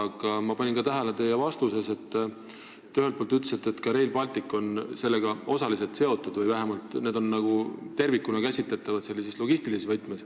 Aga ma panin teie vastuses tähele, et te ühelt poolt ütlesite, et ka Rail Baltic on sellega osaliselt seotud või vähemalt need projektid on logistilises võtmes tervikuna käsitletavad.